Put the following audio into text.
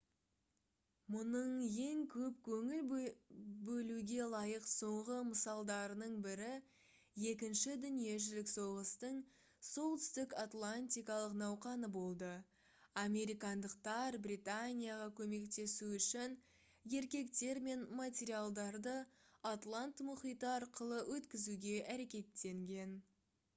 мұның ең көп көңіл бөлуге лайық соңғы мысалдарының бірі екінші дүниежүзілік соғыстың солтүстік атлантикалық науқаны болды американдықтар британияға көмектесу үшін еркектер мен материалдарды атлант мұхиты арқылы өткізуге әрекеттенген